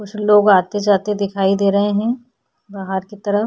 कुछ लोग आते -जाते दिखाई दे रहे है बाहर की तरफ --